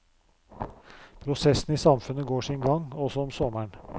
Prosessene i samfunnet går sin gang, også om sommeren.